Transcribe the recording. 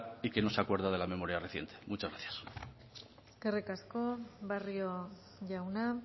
y que no se acuerda de la memoria reciente muchas gracias eskerrik asko barrio jauna